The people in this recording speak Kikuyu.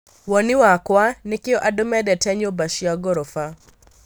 Woni wakwa, nĩkĩo andû mendete nyũmba cia ngorofa